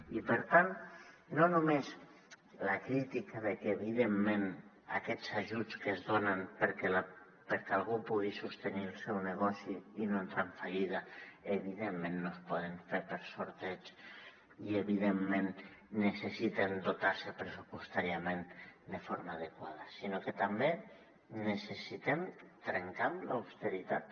i per tant no només la crítica de que evidentment aquests ajuts que es donen perquè algú pugui sostenir el seu negoci i no entrar en fallida evidentment no es poden fer per sorteig i evidentment necessiten dotar se pressupostàriament de forma adequada sinó que també necessitem trencar amb l’austeritat